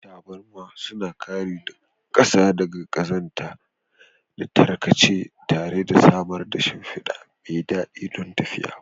Taburma suna kare ƙasa daga ƙazanta da tarkace tare da samar da shimfida mai daɗi don tafiya.